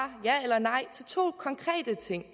ja eller nej til to konkrete ting